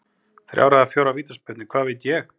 Þrjár eða fjórar vítaspyrnur, hvað veit ég?